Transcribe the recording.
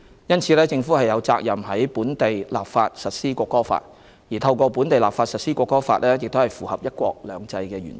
因此，政府有責任在本地立法實施《國歌法》，而透過本地立法實施《國歌法》符合"一國兩制"原則。